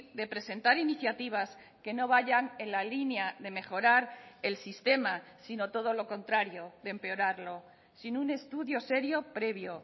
de presentar iniciativas que no vayan en la línea de mejorar el sistema sino todo lo contrario de empeorarlo sin un estudio serio previo